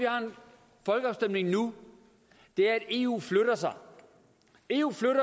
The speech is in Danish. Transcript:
folkeafstemning nu er at eu flytter sig eu flytter